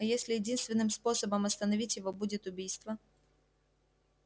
а если единственным способом остановить его будет убийство